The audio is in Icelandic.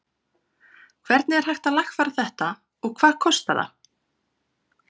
Hvernig er hægt að lagfæra þetta og hvað kostar það?